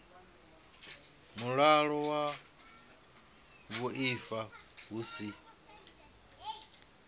mulayo wa vhuaifa hu si